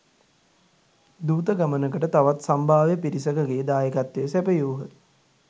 දූත ගමනට තවත් සම්භාව්‍ය පිරිසකගේ දායකත්වය සැපයූහ